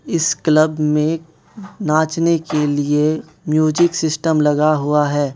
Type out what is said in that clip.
इस क्लब में नाचने के लिए म्यूजिक सिस्टम लगा हुआ है।